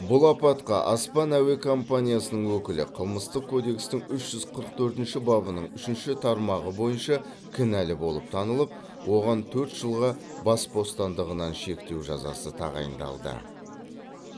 бұл апатқа аспан әуе компаниясының өкілі қылмыстық кодекстің үш жүз қырық төртінші бабының үшінші тармағы бойынша кінәлі болып танылып оған төрт жылға бас бостандығынан шектеу жазасы тағайындалды